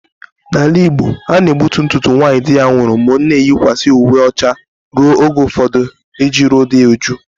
N'ala Igbo a na-egbutu ntutu nwaanyị di ya nwụrụ ma ọ na-eyikwasị uwe ọcha ruo oge ụfọdụ iji ruo uju di ya